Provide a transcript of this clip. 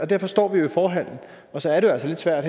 derfor står vi jo i forhallen og så er det altså lidt svært at